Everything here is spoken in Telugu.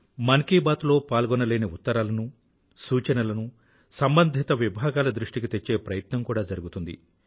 మన్ కీ బాత్ లో పాల్గొనలేని ఉత్తరాలను సూచనలను సంబంధిత విభాగాల దృష్టికి తెచ్చే ప్రయత్నం కూడా జరుగుతుంది